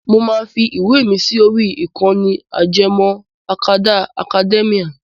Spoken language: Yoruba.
Mo máa fi ìwé mi sí orí ìkànnì ajẹmọ́ akadá Akademíà.